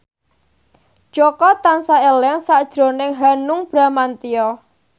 Jaka tansah eling sakjroning Hanung Bramantyo